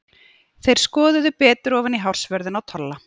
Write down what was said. Þeir skoðuðu betur ofan í hársvörðinn á Tolla.